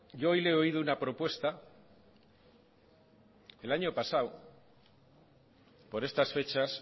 yo hoy le he odio una propuesta el año pasado por estas fechas